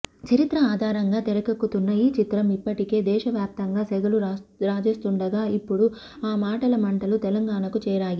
చరిత్ర ఆధారంగా తెరకెక్కుతున్న ఈ చిత్రం ఇఫ్పటికే దేశవ్యాప్తంగా సెగలు రాజేస్తుండగా ఇపుడు ఆ మాటల మంటలు తెలంగాణకు చేరాయి